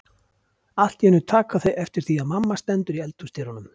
Allt í einu taka þau eftir því að mamma stendur í eldhúsdyrunum.